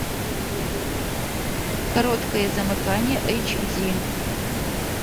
короткое замыкание эйч ди